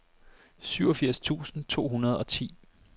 syvogfirs tusind to hundrede og ti